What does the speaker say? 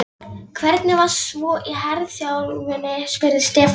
Hvernig var svo í herþjálfuninni? spurði Stefán.